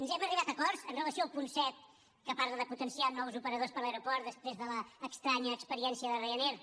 hem arribat a acords amb relació al punt set que parla de potenciar nous operadors per a l’aeroport després de l’estranya experiència de ryanair